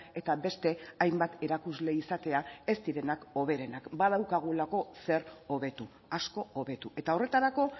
eta beste hainbat erakusle izatea ez direnak hoberenak badaukagulako zer hobetu asko hobetu eta horretarako